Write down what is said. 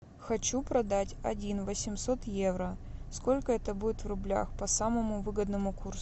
хочу продать один восемьсот евро сколько это будет в рублях по самому выгодному курсу